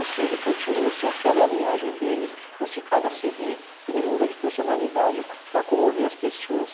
Ou se ele continua, se aquela é a linhagem dele, ou se cada cê dê ele muda de personalidade para comover as pessoas.